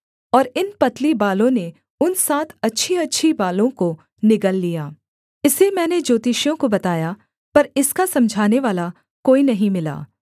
और इन पतली बालों ने उन सात अच्छीअच्छी बालों को निगल लिया इसे मैंने ज्योतिषियों को बताया पर इसका समझानेवाला कोई नहीं मिला